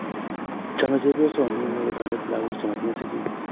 Chomei chepyosoo nino kotoret lakok che moyinye sikiik.